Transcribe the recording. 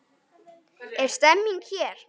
Er stemming hér?